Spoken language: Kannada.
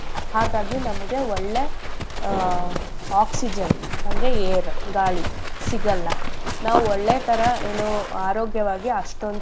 ಹಾಗಾಗಿ ನಮ್ಗೆ ಒಳ್ಳೇ ಆಹ್ oxygen ಅಂದ್ರೆ air ಗಾಳಿ ಸಿಗಲ್ಲ ನಾವ್ ಒಳ್ಳೆಥರಾ ಏನೂ ಆರೋಗ್ಯವಾಗಿ ಅಷ್ಟೊಂದ್.